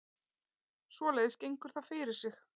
Svoleiðis gengur það fyrir sig